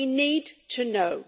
We need to know.